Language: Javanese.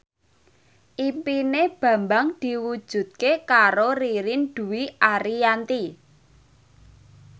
impine Bambang diwujudke karo Ririn Dwi Ariyanti